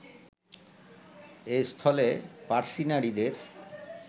এস্থলে পার্সী নারীদের